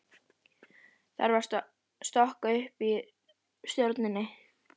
Þarf þá að stokka upp í stjórninni?